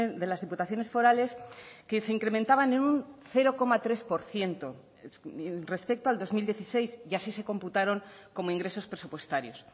de las diputaciones forales que se incrementaban en un cero coma tres por ciento respecto al dos mil dieciséis y así se computaron como ingresos presupuestarios